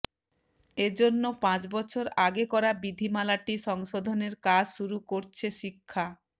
এ জন্য পাঁচ বছর আগে করা বিধিমালাটি সংশোধনের কাজ শুরু করছে শিক্ষা